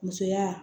Musoya